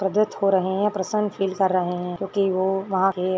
दो छोरा है ये प्रसंग खेल कर रहे है क्योकि वो वहा के --